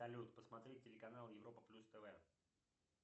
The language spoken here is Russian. салют посмотреть телеканал европа плюс тв